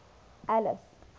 alice